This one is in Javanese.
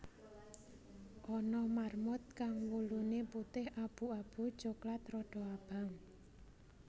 Ana marmut kang wuluné putih abu abu coklat rada abang